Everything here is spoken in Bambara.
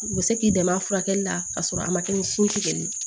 U bɛ se k'i dɛmɛ a furakɛli la ka sɔrɔ a ma kɛ ni sin tigɛli ye